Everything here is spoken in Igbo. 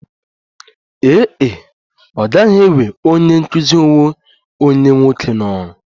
Ee e, ọ gaghị ewe onye nkụzi onwe onye nwoke n'ọrụ